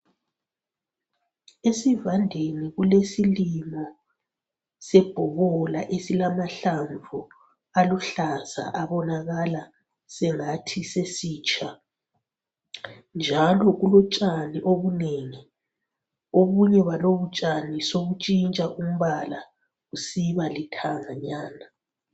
Esivandeni kulesilimo sebhobola esilamahlamvu aluhlaza abonakala sengathi sesitsha njalo kulotshani obunengi. Obunye balobutshani sobuntshintsha umbala busiba lithanganyana